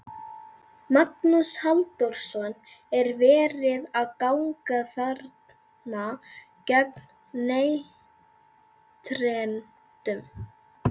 Magnús Halldórsson: Er verið að ganga þarna gegn neytendum?